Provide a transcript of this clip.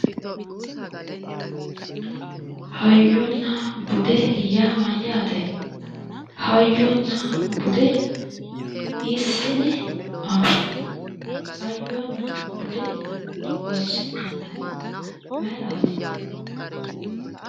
Hayyonna bude yaa mayyaate? Hayyonna bude hiissine anfanni? Hayyonna bude horoonsi'nannihu mayiraati?